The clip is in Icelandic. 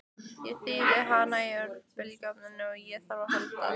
Ég þíði hana í örbylgjuofninum ef á þarf að halda.